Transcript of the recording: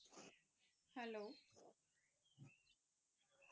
hello